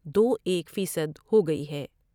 دو ایک فیصد ہوگئی ہے ۔